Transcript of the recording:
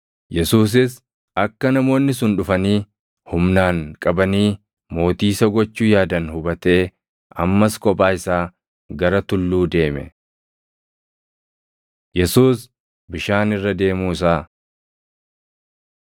Yesuusis akka namoonni sun dhufanii humnaan qabanii mootii isa gochuu yaadan hubatee ammas kophaa isaa gara tulluu deeme. Yesuus Bishaan Irra Deemuu Isaa 6:16‑21 kwf – Mat 14:22‑33; Mar 6:47‑51